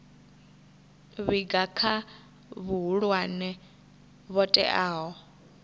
vhiga kha vhahulwane vho teaho